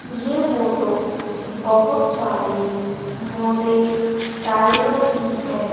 ये फोटो बहोत सारे--